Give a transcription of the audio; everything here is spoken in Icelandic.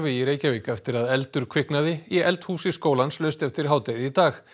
í Reykjavík eftir að eldur kviknaði í eldhúsi skólans laust eftir hádegi í dag